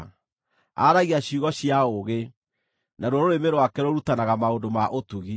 Aaragia ciugo cia ũũgĩ, naruo rũrĩmĩ rwake rũrutanaga maũndũ ma ũtugi.